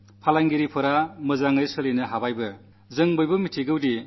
കഴിഞ്ഞ ചില ദിവസങ്ങളായി കച്ചവടം ശരിയായി നടക്കാൻ തുടങ്ങിയിട്ടുണ്ട്